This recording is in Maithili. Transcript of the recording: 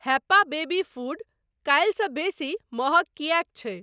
हैप्पा बेबी फ़ूड काल्हिसँ बेसी महँग किएक छै?